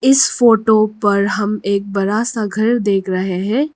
इस फोटो पर हम एक बड़ा सा घर देख रहे हैं।